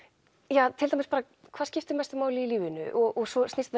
ja til dæmis bara hvað skiptir mestu máli í lífinu og svo snýst